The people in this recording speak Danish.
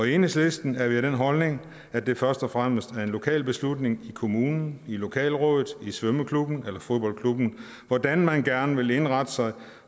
i enhedslisten har vi den holdning at det først og fremmest er en lokal beslutning i kommunen i lokalrådet i svømmeklubben eller fodboldklubben hvordan man gerne vil indrette sig